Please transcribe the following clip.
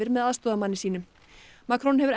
með aðstoðarmanni sínum Macron hefur